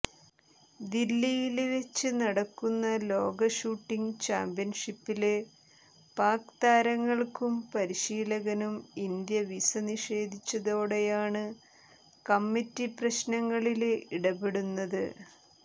ദില്ലിയില് വെച്ച് നടക്കുന്ന ലോക ഷൂട്ടിംഗ് ചാമ്പ്യന്ഷിപ്പില് പാക് താരങ്ങള്ക്കും പരിശീലകനും ഇന്ത്യ വിസ നിഷേധിച്ചതോടെയാണ് കമ്മറ്റി പ്രശ്നത്തില് ഇടപെടുന്നത്